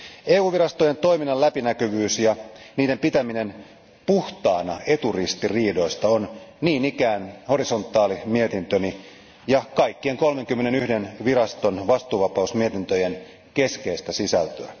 EU virastojen toiminnan läpinäkyvyys ja niiden pitäminen puhtaana eturistiriidoista on niin ikään horisontaalimietintöni ja kaikkien 31 viraston vastuuvapausmietintöjen keskeistä sisältöä.